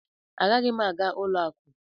Agaghị m aga ụlọ akụ!